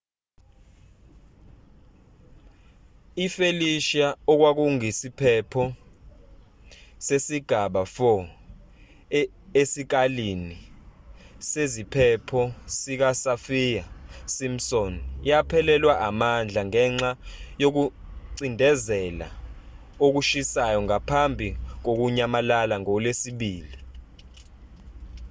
i-felicia okwakuyisiphepho sesigaba 4 esikalini seziphepho sikasaffir-simpson yaphelelwa amandla ngenxa yokucindezela okushisayo ngaphambi kokunyamalala ngolwesibili